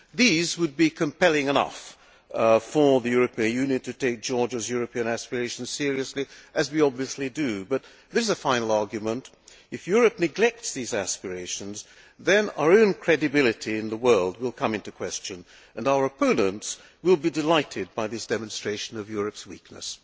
These would be compelling enough reasons for the European Union to take Georgia's European aspirations seriously, as we obviously do, but there is also a final argument, which is that, if Europe neglects these aspirations, then our own credibility in the world will come into question and our opponents will be delighted by this demonstration of Europe's weakness.